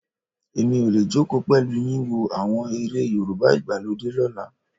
Èmi ò lè jókòó pẹ̀lú yín wo àwọn eré Yorùbá ìgbàlódé lọ́la.